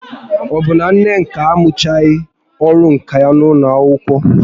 Ọ bụ na Nneka amụchaghị ọrụ nka ya n'ụlọ akwụkwọ?